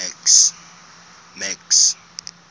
max